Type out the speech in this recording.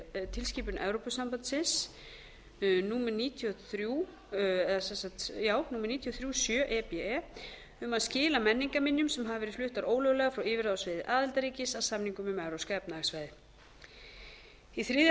tilskipun evrópusambandsins númer níutíu og þrjú sjö e b e um að skila menningarminjum sem hafa verið fluttar ólöglega frá yfirráðasvæði aðildarríkis að samningnum um evrópska efnahagssvæðið varðandi